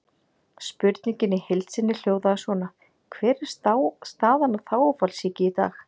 Spurningin í heild sinni hljóðaði svona: Hver er staðan á þágufallssýki í dag?